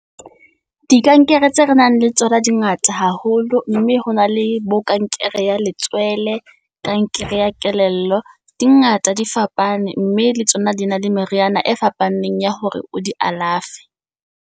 Dikankere tseo re nang le tsona di ngata haholo, mme ho na le bo kankere ya letswele. Kankere ya kelello di ngata di fapane, mme le tsona di na le meriana e fapaneng ya hore o di alafe.